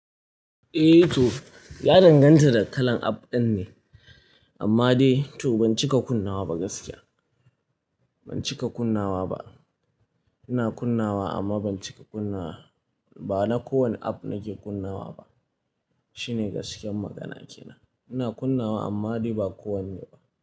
Eh to ya danganta da kalan app ɗin ne amma dai to ban cika kunnawa ba gaskiya. Ban cika kunnawa ba. Ina kunnawa amma ban cika kunnawa ba na kowane app nake kunnawa ba. Shine gaskiyar magana kenan. Ina kunnawa amma dai ba kowanne ba.